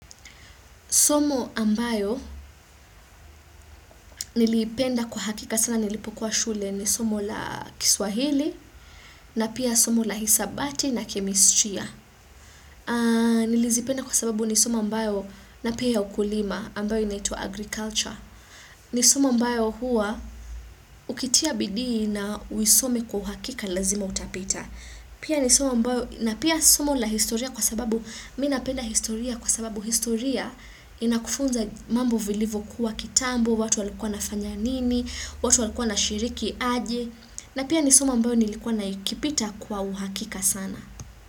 Somo ambayo niliipenda kwa hakika sana nilipokuwa shule ni somo la kiswahili na pia somo la hisabati na kemistria. Nilizipenda kwa sababu ni somo ambayo na pia ukulima ambayo inaitwa agriculture. Ni somo ambayo huwa ukitia bidii na uisome kwa uhakika lazima utapita. Pia ni somo ambayo, na pia somo la historia kwa sababu mi napenda historia kwa sababu historia inakufunza mambo vilivokuwa kitambo, watu walikuwa na fanya nini, watu walikuwa wanashiriki aje, na pia ni somo ambayo nilikuwa na kipita kwa uhakika sana.